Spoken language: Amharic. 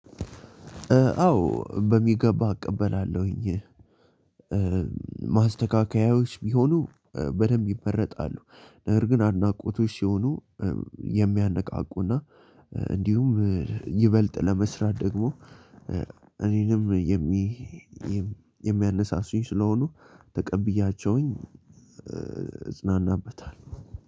አዎ በሚገባ እቀበላለሁኝ። ማስተካከያዎች ቢሆኑ በደንብ ይመረጣሉ። ነገር ግን አድናቆቶች ሲሆኑ የሚያነቃቁና እንዲሁም ይበልጥ ለመስራት ደግሞ እኔንም የሚ የሚያነሳሱኝ ስለሆኑ ተቀብያቸውኝ። እጽናናበታለሁ